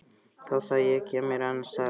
Þá það, ég kem mér annarsstaðar fyrir.